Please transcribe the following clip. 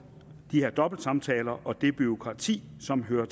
de her dobbeltsamtaler og det bureaukrati som hører